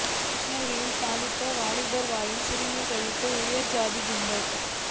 கிருஷ்ணகிரியில் தலித் வாலிபர் வாயில் சிறுநீர் கழித்த உயர் சாதி கும்பல்